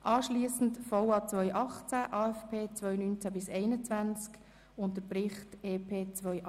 Anschliessend debattieren wir über den VA 2018, den AFP 2019-2021 und den Bericht über das EP 2018.